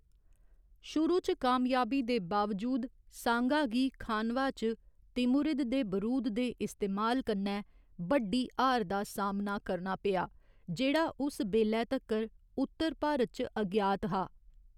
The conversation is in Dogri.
शुरू च कामयाबी दे बावजूद सांगा गी खानवा च तिमुरिद दे बरूद दे इस्तेमाल कन्नै बड्डी हार दा सामना करना पेआ, जेह्‌‌ड़ा उस बेल्लै तक्कर उत्तर भारत च अज्ञात हा।